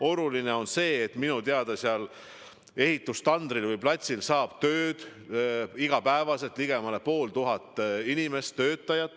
Oluline on see, et minu teada seal ehitustandril või -platsil saab tööd iga päev ligemale pool tuhat inimest.